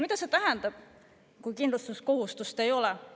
Mida see tähendab, kui kindlustuskohustust ei ole?